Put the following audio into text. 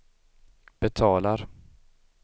betalar